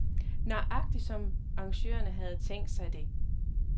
Nøjagtig som arrangørerne havde tænkt sig det.